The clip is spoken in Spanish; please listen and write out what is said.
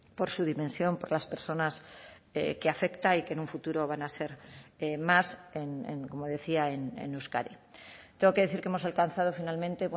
por su dimensión por las personas que afecta y que en un futuro van a ser más como decía en euskadi tengo que decir que hemos alcanzado finalmente